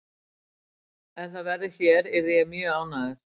Ef það verður hér yrði ég mjög ánægður.